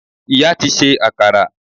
Ìyá ti se akara